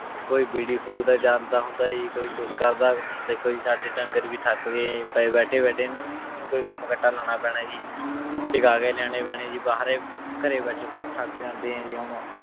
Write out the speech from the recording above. ਕੋਈ ਬੀੜੀ ਫੂਕਦਾ ਜਾਂਦਾ ਹੁੰਦਾ ਜੀ, ਕੋਈ ਕੁਛ ਕਰਦਾ ਹੁਣ ਦੇਖੋ ਜੀ ਸਾਡੇ ਡੰਗਰ ਵੀ ਥੱਕ ਗਏ ਹੈ ਜੀ, ਪਏ ਬੈਠੇ ਬੈਠੇ ਇਹਨਾਂ ਨੂੰ ਵੀ ਕੋਈ ਕੰਮ ਕੱਟਾ ਲਾਉਣਾ ਪੈਣਾ ਜੀ, ਸਿਖਾ ਕੇ ਲਿਆਉਣੇ ਪੈਣੇ ਜੀ ਬਾਹਰੇ ਘਰੇ ਵਿੱਚ ਥੱਕ ਜਾਂਦੇ ਹੈ ਜੀ ਹੁਣ।